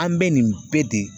An bɛ nin bɛɛ de